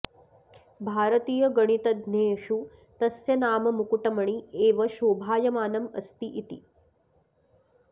भारतीयगणितज्ञेषु तस्य नाम मुकुटमणि एव शोभायमानम् अस्ति इति